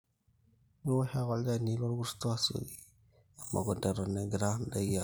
miwosh ake olchani lorkurto asioki emukunta eton engira ndaiki abuluu